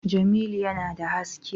Jamilu yana da haske